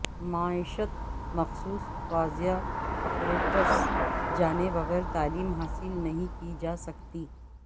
معیشت مخصوص واضح اپریٹس جانے بغیر تعلیم حاصل نہیں کی جاسکتی